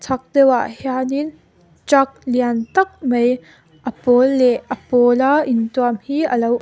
chhak deuhah hianin truck lian tak mai a pawl leh a pawla intuam hi a lo--